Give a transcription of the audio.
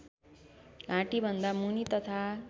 घाँटीभन्दा मुनि तथा